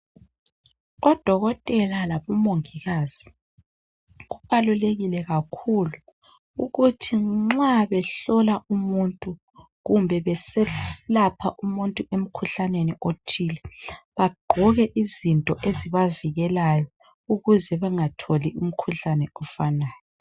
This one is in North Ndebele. ODokotela labomongikazi kubalulekile kakhulu ukuthi nxa behlola umuntu kumbe beselapha umuntu emkhuhlaneni othile. Bagqoke izinto ezibavikelayo ukuze bengatholi umkhuhlane ofanayo.